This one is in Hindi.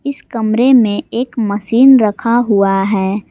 इस कमरे में एक मशीन रखा हुआ है।